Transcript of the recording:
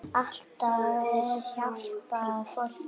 Alltaf að hjálpa fólki.